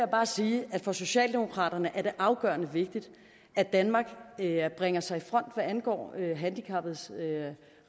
bare sige at for socialdemokraterne er det afgørende vigtigt at danmark bringer sig i front hvad angår handicappedes